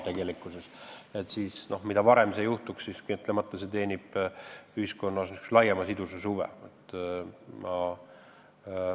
Mida varem see valmib, seda parem, sest kahtlemata teenib see ühiskonna laiema sidususe huve.